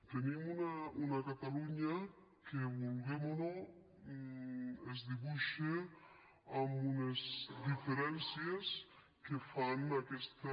tenim una catalunya que vulguem o no es dibuixa amb unes diferències que fan aquesta